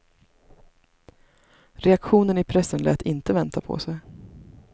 Reaktionen i pressen lät inte vänta på sig.